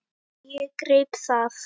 Og ég greip það.